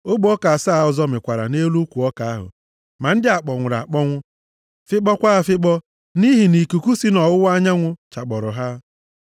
Ogbe ọka asaa ọzọ mịkwara nʼelu ukwu ọka ahụ, ma ndị a kpọnwụrụ akpọnwụ, fịkpọkwa afịkpọ nʼihi nʼikuku si nʼọwụwa anyanwụ chakpọrọ ha.